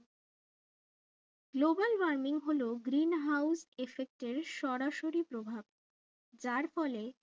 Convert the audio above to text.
global warming হলো greenhouse effect এর সরাসরি প্রভাব যার ফলে